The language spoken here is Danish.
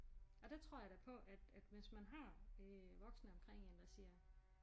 Og der tror jeg da på at at hvis man har øh voksne omkring én der siger